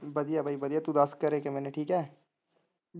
ਵਧੀਆ ਬਾਈ ਵਧੀਆ ਤੂੰ ਦੱਸ ਘਰੇ ਕੀਮੇ ਨੇ ਠੀਕ ਐ?